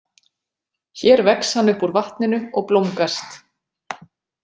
Hér vex hann upp úr vatninu og blómgast.